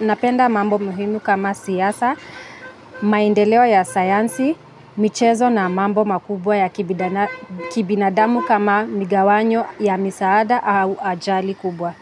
napenda mambo muhimu kama siasa, maendeleo ya saansi, michezo na mambo makubwa ya kibinadamu kama migawanyo ya misaada au ajali kubwa.